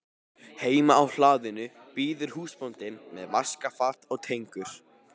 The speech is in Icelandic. Heima á hlaðinu bíður húsbóndinn með vaskafat og tengur.